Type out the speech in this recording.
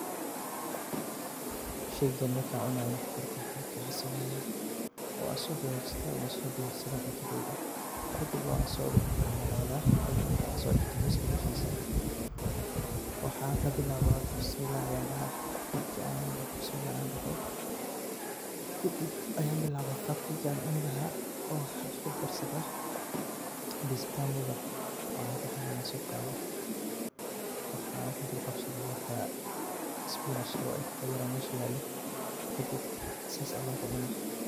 Sheygan marka cunayo marka hore waxan sameya wn sodagajista oo wan so diyarsada sheyga an kucanayo kadib wan so gacmo daqda kadib waxa kabilawa bismillah ayan daha marka an doho kadib ayan bilawa qabka an ucuni laha oo waxan iskudarsada fayasi tamuga waxa ey dahan ayan soqada waxan kudulqabsada waxa isbinajka uu eg ee meesha yalo kadib sidas aya kucuna.